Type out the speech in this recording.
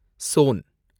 zone